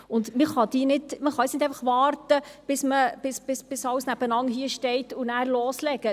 Man kann nun nicht warten, bis alles nebeneinandersteht und dann loslegen.